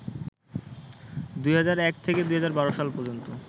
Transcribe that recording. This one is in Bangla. ২০০১ থেকে ২০১২ সাল পর্যন্ত